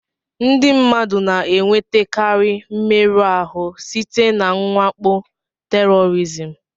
Ndị mmadụ na-enwetakarị mmerụ ahụ site na mwakpo tèrọrizim